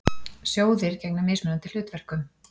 Sjóðir gegna mismunandi hlutverkum.